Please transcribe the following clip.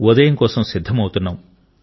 ఉదయం కోసం సిద్ధమవుతున్నాం